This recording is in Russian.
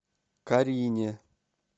карине